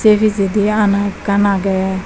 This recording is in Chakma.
say pijedi aana ekkan aage.